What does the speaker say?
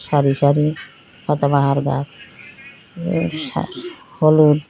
সারি সারি পাতাবাহার গাছ সা হলুদ--